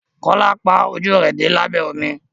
Kola pá ojú rẹ dé labẹ omi.